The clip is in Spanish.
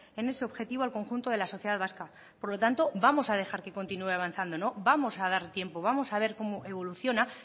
en ese objetivo al conjunto de la sociedad vasca por lo tanto vamos a dejar que continúe avanzando vamos a dar tiempo vamos a ver cómo evoluciona